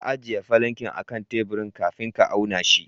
Ka ajiye falankin akan teburin kafin ka auna shi.